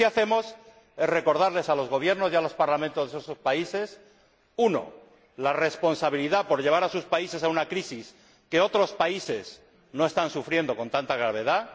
Lo que sí hacemos es recordarles a los gobiernos y a los parlamentos de esos países uno, la responsabilidad por llevar a sus países a una crisis que otros países no están sufriendo con tanta gravedad